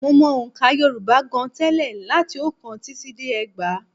Mo mọ ọ̀ǹkà Yorùbá gan-an tẹ́lẹ̀ láti oókán títí dé ẹgbàá